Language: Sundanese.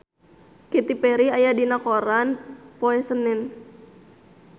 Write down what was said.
Katy Perry aya dina koran poe Senen